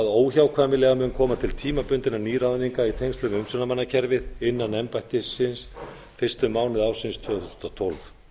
óhjákvæmilega mun koma til tímabundinna nýráðninga í tengslum við umsjónarmannakerfið innan embættisins fyrstu mánuði ársins tvö þúsund og tólf á